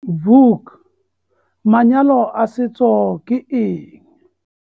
Vuk - Manyalo a setso ke eng?